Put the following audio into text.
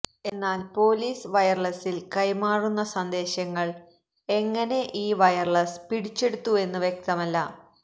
എന്നാൽ പോലീസ് വയര്ലസില് കൈമാറുന്ന സന്ദേശങ്ങള് എങ്ങനെ ഈ വയര്ലസ് പിടിച്ചെടുത്തുവെന്ന് വ്യക്തമല്ല